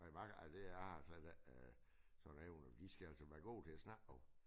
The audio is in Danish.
Nej mig ej det jeg har slet ikke øh sådan evner de skal altså være gode til at snakke også